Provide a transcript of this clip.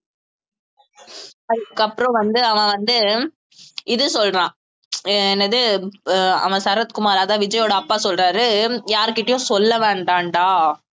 அதுக்கப்புறம் வந்து அவன் வந்து இது சொல்றான் அஹ் என்னது அஹ் அவன் சரத்குமார் அதான் விஜயோட அப்பா சொல்றாரு யாருகிட்டயும் சொல்ல வேண்டாம்டா